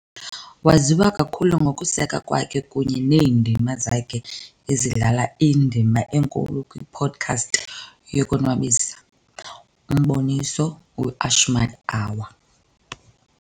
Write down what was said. Waziwa kakhulu ngokuseka kwakhe kunye neendima zakhe ezidlala indima enkulu kwipodcast yokonwabisa, umboniso "weAshmed Hour"